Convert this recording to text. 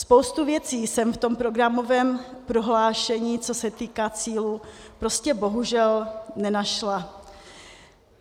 Spoustu věcí jsem v tom programovém prohlášení, co se týká cílů, prostě bohužel nenašla.